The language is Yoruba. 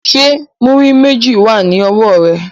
Ṣé múrí méjì wà ní ọwọ́ ẹ?